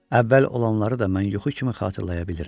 Əvvəl olanları da mən yuxu kimi xatırlaya bilirəm.